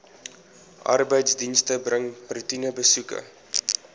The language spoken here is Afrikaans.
arbeidsdienste bring roetinebesoeke